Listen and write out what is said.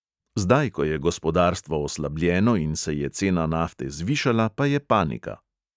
Zdaj, ko je gospodarstvo oslabljeno in se je cena nafte zvišala, pa je panika.